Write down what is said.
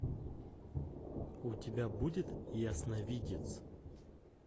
у тебя будет ясновидец